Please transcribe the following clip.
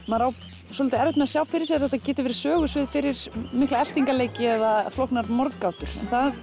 maður á svolítið erfitt með að sjá fyrir sér að þetta geti verið sögusvið fyrir mikla eltingaleiki eða flóknar morðgátur en það